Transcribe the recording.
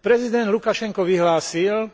Prezident Lukašenko vyhlásil,